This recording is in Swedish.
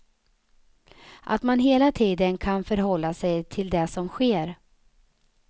Att man hela tiden kan förhålla sig till det som sker.